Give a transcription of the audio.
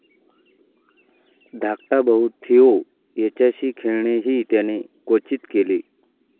धाकटा भाऊ थिओ याच्याशी खेळणेही त्याने क्वचित केले.